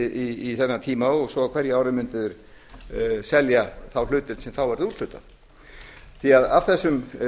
í þennan tíma og svo á hverju ári mundu þeir selja þá hlutdeild sem þá verður úthlutað því af þessum